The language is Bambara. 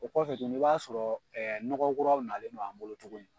O kɔfɛ tuguni i b'a sɔrɔ nɔgɔ kuraw nalen do an bolo tuguni